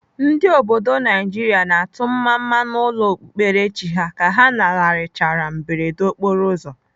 Ndị obodo Naijiria na-atụ mmamma n'ụlọ okpukperechi ha ka ha lanarịchara mberede okporoụzọ.